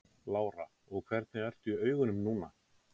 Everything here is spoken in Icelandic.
Lára: Og hvernig ertu í augunum núna?